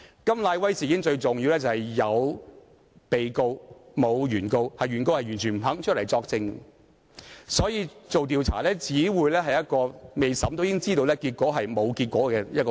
甘乃威事件中最重要的一點是有被告，沒有原告——原告不肯作證，所以調查只會是沒有結果的過程，而這是未審也知道的。